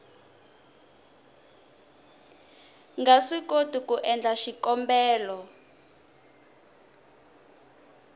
nga swikoti ku endla xikombelo